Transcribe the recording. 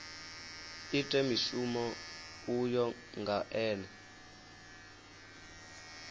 ite mushumo uyo nga ene